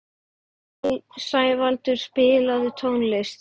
Sævaldur, spilaðu tónlist.